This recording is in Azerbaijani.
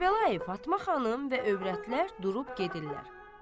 Kərbəlayı Fatma xanım və övrətlər durub gedirlər.